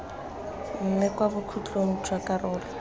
mme kwa bokhutlong jwa karolo